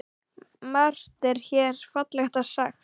Margt er hér fallega sagt.